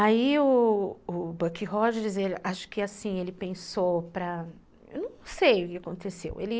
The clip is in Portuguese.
Aí o Buck Rogers, acho que assim, ele pensou para... Eu não sei o que aconteceu, ele...